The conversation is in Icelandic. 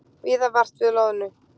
Víða vart við loðnu